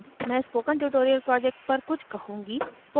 अब मैं spoken tutorial project पर कुछ कहूँगी